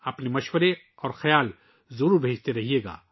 اپنی تجاویز اور خیالات بھیجتے رہیں